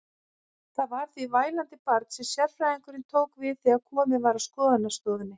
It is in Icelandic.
Það var því vælandi barn sem sérfræðingurinn tók við þegar komið var að skoðunarstofunni.